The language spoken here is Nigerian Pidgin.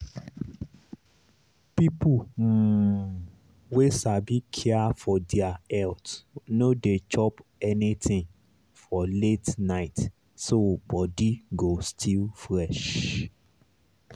people um wey sabi care for their health no dey chop anything for late night so body go still fresh.